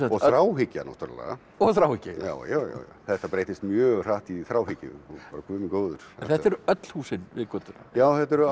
og þráhyggja náttúrulega og þráhyggja já já þetta breyttist mjög hratt í þráhyggju og bara Guð minn góður þetta eru öll húsin við götuna já þetta eru